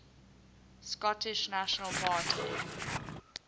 scottish national party